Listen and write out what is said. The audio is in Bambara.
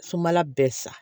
Sumala bɛɛ sa